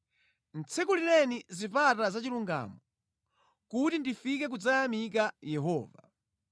Tsekulireni zipata zachilungamo, kuti ndifike kudzayamika Yehova.